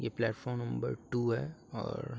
ये platform number two है और --